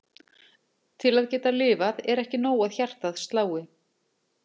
Til að geta lifað er ekki nóg að hjartað slái.